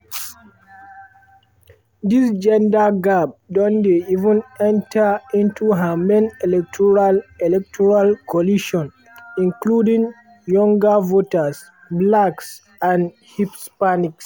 dis gender gap don dey even enta into her main electoral electoral coalition including younger voters blacks and hispanics.